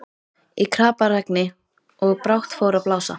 Í kraparegni, og brátt fór að blása.